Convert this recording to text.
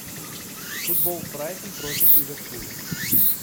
футбол брайтон против ливерпуля